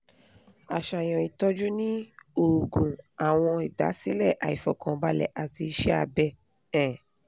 aṣayan itọju ni oògùn awọn idasilẹ aifọkanbalẹ ati iṣẹ abẹ um